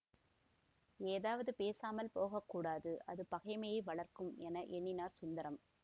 ஏதாவது பேசாமல் போக கூடாது அது பகைமையை வளர்க்கும் என எண்ணினார் சுந்தரம்